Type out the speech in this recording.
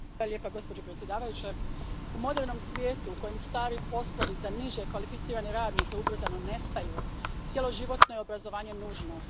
Gospođo predsjednice, u modernom svijetu u kojem stari poslovi za niže kvalificirane radnike ubrzano nestaju cjeloživotno je obrazovanje nužnost.